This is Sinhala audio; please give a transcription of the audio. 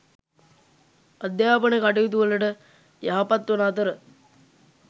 අධ්‍යාපන කටයුතුවලට යහපත් වන අතර